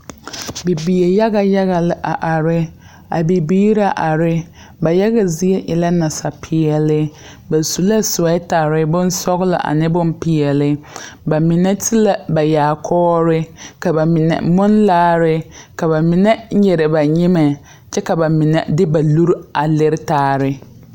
Bibiire yaga yaga lɛ a are a bibiire na are ba yaga zie e la nasapeɛl ba su la soɛɛtarre bonsɔglɔ ane bonpeɛle ba mine ti la ba yaakɔɔre ka ba mine munne laare ka ba mine nyire ba nyimɛ kyɛ ka ba mine de ba nure a lire taare.